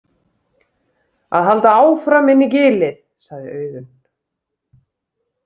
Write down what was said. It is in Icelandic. Að halda áfram inn í gilið, sagði Auðunn.